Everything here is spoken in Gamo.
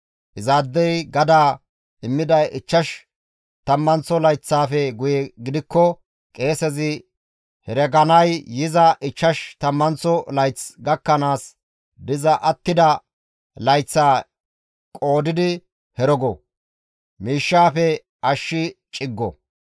Izaadey gadaa immiday ichchash tammanththo layththaafe guye gidikko qeesezi hereganay yiza ichchash tammanththo layth gakkanaas diza attida layththaa qoodidi herego; miishshaafe ashshi ciggo.